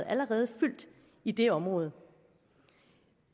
allerede fyldt i det område